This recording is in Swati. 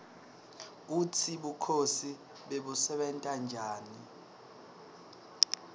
kutsi bukhosi bebusebenta njani